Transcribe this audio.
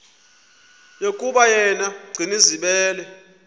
yokuba yena gcinizibele